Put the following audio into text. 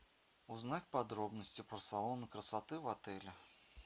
узнать подробности про салоны красоты в отеле